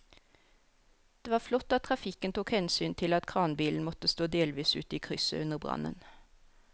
Det var flott at trafikken tok hensyn til at kranbilen måtte stå delvis ute i krysset under brannen.